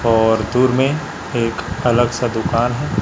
और दूर में एक अलग सा दुकान है।